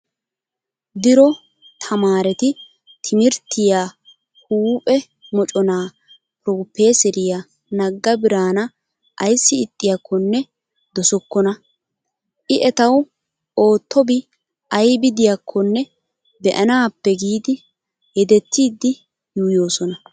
Dro tamaareti timirttiyaa huuphe moconaa pirofeeseriyaa nagga biraana ayssi ixxiyaakkonne dosookkona. I etawu ottobi aybi diyaakkonne be''anaappe giidi yedettiiddi yuuyyoosona.